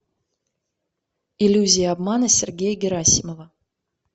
иллюзия обмана сергея герасимова